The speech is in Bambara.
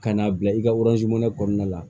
Ka n'a bila i ka kɔnɔna la